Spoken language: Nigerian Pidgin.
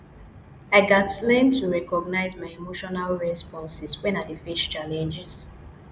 i gats learn to recognize my emotional responses when i dey face challenges